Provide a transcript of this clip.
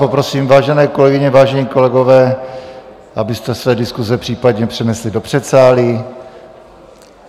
Poprosím, vážené kolegyně, vážení kolegové, abyste své diskuse případně přenesli do předsálí.